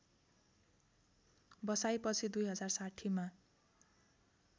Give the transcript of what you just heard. बसाइपछि २०६० मा